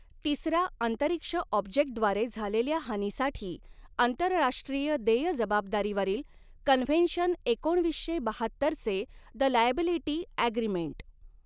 तिसरा अंतरिक्ष ऑब्जेक्टद्वारे झालेल्या हानीसाठी आंतरराष्ट्रीय देय जबाबदारीवरील कन्व्हेन्शन एकोणवीसशे बहात्तरचे द लायॅबिलिटी ॲग्रीमेंट.